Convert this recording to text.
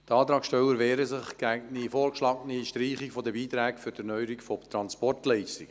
Die Antragsteller wehren sich gegen meine vorgeschlagene Streichung der Beiträge für die Erneuerung von Transportleitungen.